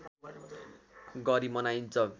गरी मनाइन्छ